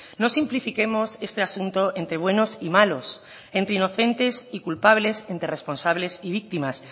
no simplifiquemos este asunto entre buenos y malos entre inocentes y culpables entre responsables y víctimas